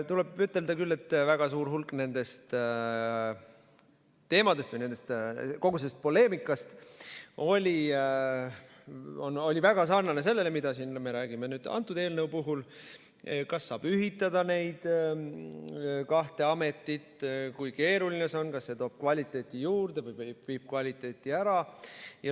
Tuleb ütelda, et väga suur hulk nendest teemadest ja kogu sellest poleemikast oli väga sarnane sellega, mida me räägime nüüd antud eelnõu puhul: kas saab ühitada neid kahte ametit, kui keeruline see on, kas see toob kvaliteeti juurde või viib kvaliteeti ära.